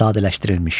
Sadələşdirilmiş.